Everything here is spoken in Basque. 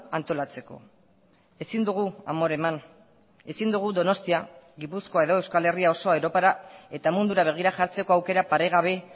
antolatzeko ezin dugu amore eman ezin dugu donostia gipuzkoa edo euskal herria osoa europara eta mundura begira jartzeko aukera paregabe